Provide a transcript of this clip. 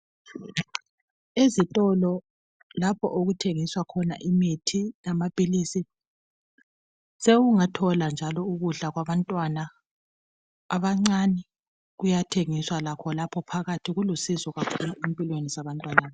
Ezitolo lapho okuthengiswa khona imithi lamaphilisi. Usewungathola njalo ukudla kwabantwana abancane. Kuyathengiswa lakho lapho phakathi. Kulusizo kakhulu empilweni zabantwana,